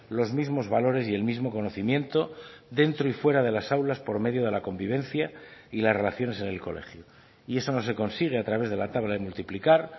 los mismos valores y el mismo conocimiento dentro y fuera de las aulas por medio de la convivencia y las relaciones en el colegio y eso no se consigue a través de la tabla de multiplicar